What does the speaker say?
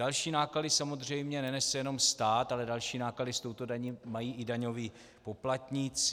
Další náklady samozřejmě nenese jenom stát, ale další náklady s touto daní mají i daňoví poplatníci.